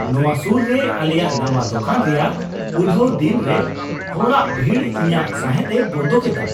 ᱱᱚᱶᱟ ᱥᱩᱨ ᱨᱮ ᱟᱞᱮᱭᱟᱜ ᱱᱟᱶᱟ ᱫᱚᱠᱟᱱ ᱨᱮᱭᱟᱜ ᱩᱰᱷᱹᱟᱣ ᱫᱤᱱ ᱨᱮ ᱦᱚᱲᱟᱜ ᱵᱷᱤᱲ ᱤᱧᱟᱜ ᱥᱟᱸᱦᱮᱫᱼᱮ ᱵᱚᱱᱫᱚ ᱠᱮᱫᱟ᱾